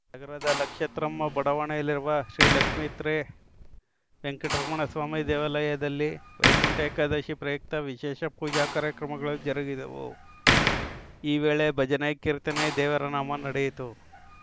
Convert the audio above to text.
ನಗರದ ಲಕ್ಷತ್ರ್ಮಮ್ಮ ಬಡಾವಣೆಯಲ್ಲಿರುವ ಶ್ರೀಲಕ್ಷಿತ್ರ್ಮೕವೆಂಕಟೇಶ್ವರಸ್ವಾಮಿ ದೇವಾಲಯದಲ್ಲಿ ವೈಕುಂಠ ಏಕಾದಶಿ ಪ್ರಯುಕ್ತ ವಿಶೇಷ ಪೂಜಾ ಕಾರ್ಯಕ್ರಮಗಳು ಜರುಗಿದವು ಈ ವೇಳೆ ಭಜನೆ ಕೀರ್ತನೆ ದೇವರನಾಮ ನಡೆಯಿತು